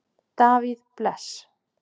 Davíð Bless.